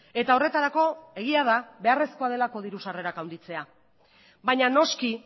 eta horretarako egia da beharrezkoa delako diru sarrerak handitzea baina noski